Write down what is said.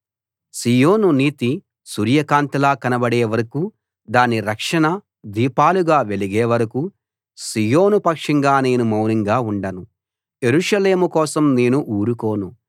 సీయోను నీతి సూర్యకాంతిలా కనబడే వరకూ దాని రక్షణ దీపాలుగా వెలిగే వరకూ సీయోను పక్షంగా నేను మౌనంగా ఉండను యెరూషలేము కోసం నేను ఊరుకోను